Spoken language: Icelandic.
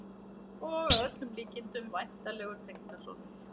Og að öllum líkindum væntanlegur tengdasonur!